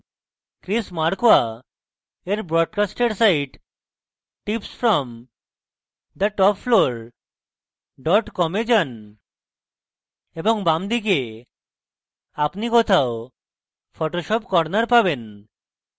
chris markwa এর broadcast site tips from the top floor dot com a যান এবং বামদিকে আপনি কোথাও photoshop corner পাবেন